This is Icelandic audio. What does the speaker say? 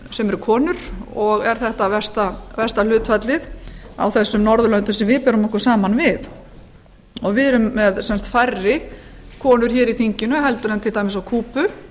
sem eru konur og er þetta versta hlutfalli á þessum norðurlöndum sem við berum okkur saman við við erum með færri konur hér í þinginu en til dæmis á kúbu